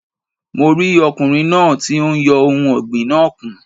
Mo rí ọkùnrin náà ti n yọ ohun ọ̀gbìn náà kùn